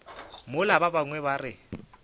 mola ba bangwe ba re